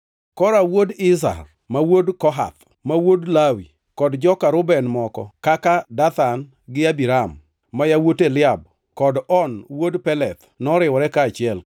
Kora wuod Izhar, ma wuod Kohath, ma wuod Lawi, kod joka Reuben moko kaka Dathan gi Abiram, ma yawuot Eliab kod On wuod Peleth noriwore kaachiel